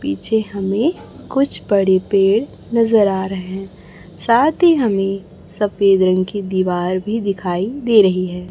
पीछे हमें कुछ बड़े पेड़ नजर आ रहे हैं साथ ही हमें सफेद रंग की दीवार भी दिखाई दे रही है।